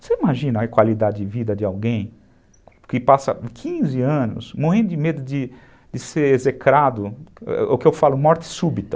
Você imagina a qualidade de vida de alguém que passa quinze anos, morrendo de medo de ser execrado, o que eu falo, morte súbita.